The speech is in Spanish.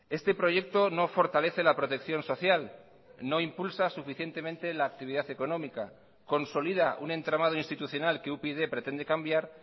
este proyecto no fortalece la protección social no impulsa suficientemente la actividad económica consolida un entramado institucional que upyd pretende cambiar